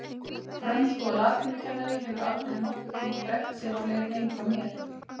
Frönsku- og latínukennari hefur aldrei nokkurn tímann drekkt sér á leið heim frá mér.